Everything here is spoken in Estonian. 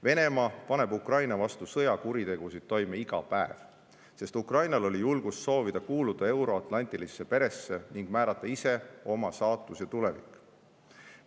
Venemaa paneb Ukraina vastu sõjakuritegusid toime iga päev, sest Ukrainal oli julgust soovida kuuluda euroatlantilisse perre ning määrata ise oma saatus ja tulevik.